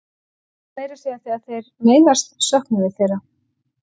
Meira að segja þegar þeir meiðast söknum við þeirra.